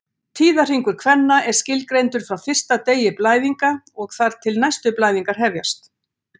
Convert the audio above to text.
Tíðahringur kvenna er skilgreindur frá fyrsta degi blæðinga og þar til næstu blæðingar hefjast.